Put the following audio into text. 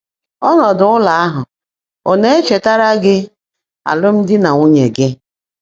Ọ́nọ́dụ́ ụ́lọ́ áhụ́ ọ̀ ná-èchetáárá gị́ álụ́mdị́ nà nwúnyé gị́?